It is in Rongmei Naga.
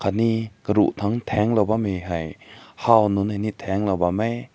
aane karu tung tang lao bam mai hae haw nün tang lao bam hae.